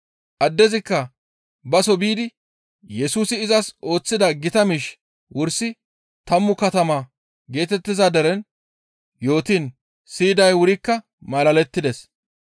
Addezikka baso biidi Yesusi izas ooththida gita miish wursi tammu katama geetettiza deren yootiin siyiday wurikka malalettides.